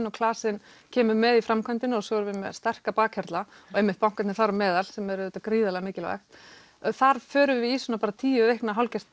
og klasinn kemur með í framkvæmdina og svo erum við með sterka bakhjarla og banka þar á meðal sem er auðvitað gríðarlega mikilvægt þar förum við í tíu vikna hálfgert